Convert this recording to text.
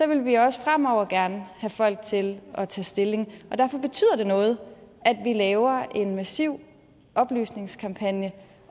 vil vi også fremover gerne have folk til at tage stilling og det noget at vi laver en massiv oplysningskampagne